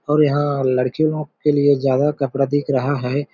और यहाँ लड़की लोग के लिए ज्यादा कपड़ा देख रहा हैं ।